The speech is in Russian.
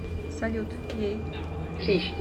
салют ей